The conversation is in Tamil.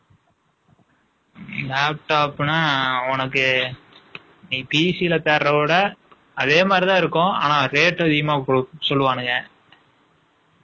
Laptop ன்னா, உனக்கு, நீ PC ல தேடுறதை விட, அதே மாதிரிதான் இருக்கும். ஆனால், rate உம் அதிகமா சொல்லுவானுங்க